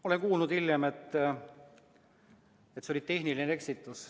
Olen kuulnud hiljem, et see oli tehniline eksitus.